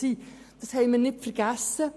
Dies haben wir nicht vergessen.